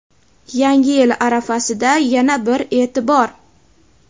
Yangi yil arafasida yana bir e’tibor.